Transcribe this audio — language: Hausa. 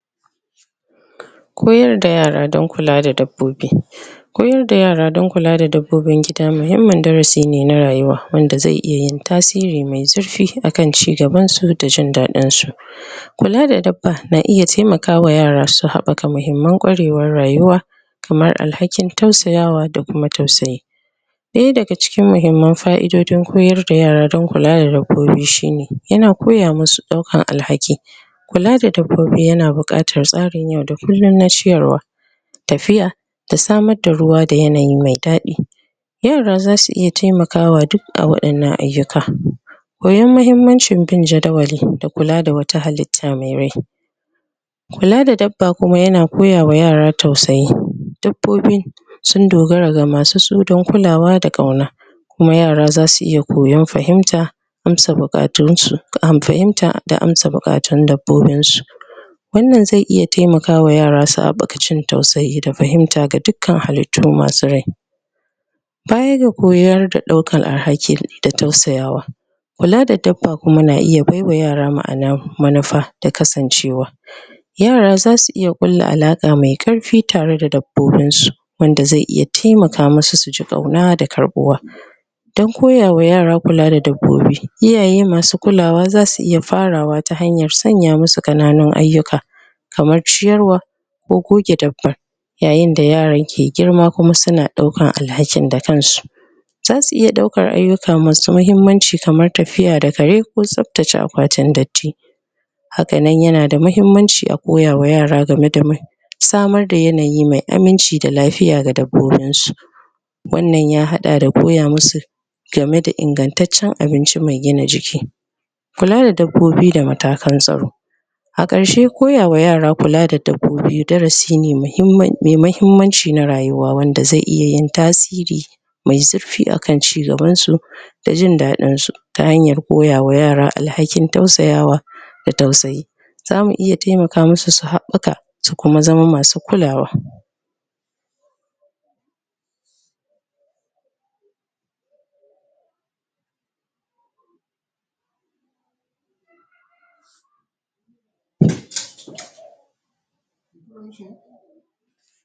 Koyar da yara don kula da dabbobi Koyar da yara don kula da dabbobin gida muhimmin darasi ne na rayuwa wanda zai iya in tasiri mai zurfi akan cigaban su da jin daɗin su Kula da dabba na iya taimaka wa yara su haɓɓaka muhimman kwarewar rayuwa kamar alhakin tausaya wa da kuma tausayi Daya daga cikin muhimman fa'idodin koyar da yara don kula da dabbobi shine, yana koya musu daukan alhaki kula da dabbobi yana buƙatar tsarin yau da kullum na ciyarwa tafiya, da samar da ruwa da yanayi mai daɗi yara za su iya taimakawa duk a waɗannan ayyukan koyon muhimmancin bin jadawali da kula da wata halitta mai rai kula da dabba kuma yana koya ma yara tausayi. Dabbobi sun dogara ga masu su don kulawa da ƙauna kuma yara za su iya koyon fahimta amsa buƙatun su fahimta da amsa buƙatun dabbbobin su wannan zai iya tamaka wa yara su haɓɓaka wajen tausayi da fahimta ga dukkan halittu masu rai Baya ga koyar da ɗaukan alhaki da tausayawa kula da dabba kuma na iya baiwa yara ma'ana manufa da kasance wa Yara za su iya ƙulla alaƙa mai karfi tare da dabbobin su wanda zai iya taimaka musu su ji ƙauna da karɓuwa don koya wa yara kula da dabbobi iyaye masu kulawa za su iya farawa ta hanyar sanya musu ƙananun ayyuka kamar ciyarwa ko goge dabba yayinda yaran ke girma kuma suna ɗaukan alhakin da kansu za su iya ɗaukan ayyuka masu muhimmanci kamar tafiya da kare ko tsaftace akwatin datti hakanan yanada muhimmanci a koya wa yara game da samar da yanayi mai aminci da lafiya ga dabbobin su wannan ya haɗa da koya musu game da ingantacciyar abinci mai gina jiki kula da dabbobi da matakan tsaro a ƙarshe koya wa yara kula da dabbobi darasi ne muhimmi mai mahimmanci na rayuwa wanda zai iya yin tasiri mai zurfi akan cigaban su da jin daɗin su ta hanyar koya wa yara alhakin tausaya wa da tausayi. Zamu iya koya musu su haɓɓaka su kuma zama masu kulawa